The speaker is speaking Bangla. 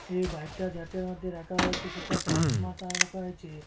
এই বাইকটা যাটের মধ্যে রাখা রয়েছে সেটা টাইলস রয়েছে।